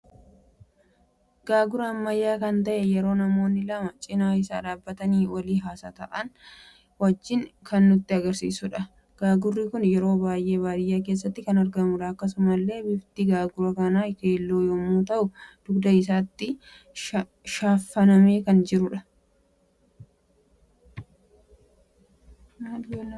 Gaaguraa Ammayyaa kan ta'ee yeroo namoonni lama cina isaa dhabbatani walii wajjiin hasa'a jiran kan nutti agarsiisudha. Gaagurri kun yeroo baay'ee baadiyyaa keessatti kan argamudha. Akkasumalle bifti gaagura kana keelloo yemmu ta'u dugda isaatti shaffaname kan argamudha.